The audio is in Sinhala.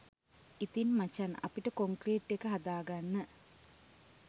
ඉතින් මචන් අපිට කොන්ක්‍රීට් එක හදාගන්න